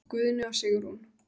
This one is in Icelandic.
Guðni og Sigrún.